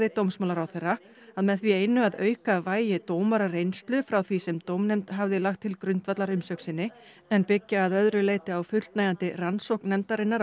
dómsmálaráðherra að með því einu að auka vægi dómarareynslu frá því sem dómnefnd hafði lagt til grundvallar umsögn sinni en byggja að öðru leyti á fullnægjandi rannsókn nefndarinnar